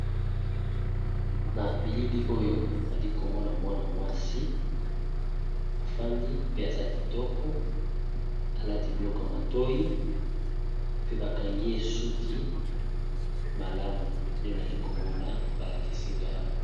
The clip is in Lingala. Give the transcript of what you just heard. Na bilili oyo nali komona mwana mwasi afandi pe aza kitoko alati biloko ya matoyi pe bakangi ye suki malamu nde nali komona ba lakisinga awa.